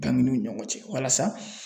Banginiw ni ɲɔgɔn cɛ walasa